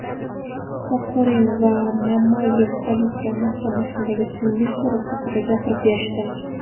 Kokorin va Mamayev politsiya mahkamasidagi tungi so‘roq haqida gapirib berishdi.